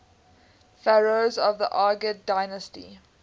pharaohs of the argead dynasty